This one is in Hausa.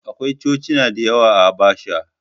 Akwai Cocina da yawa a Habasha.